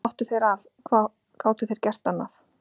Hvað áttu þeir að, hvað gátu þeir gert annað?